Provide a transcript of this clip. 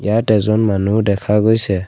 ইয়াত এজন মানুহ দেখা গৈছে।